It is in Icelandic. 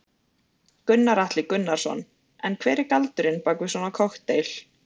Gunnar Atli Gunnarsson: En hver er galdurinn bak við svona kokteil?